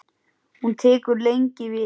Hún tekur lengi við.